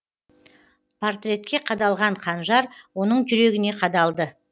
портретке қадалған қанжар оның жүрегіне қадалды